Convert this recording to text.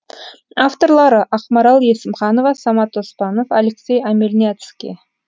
авторлары ақмарал есімханова самат оспанов алексей омельняцкий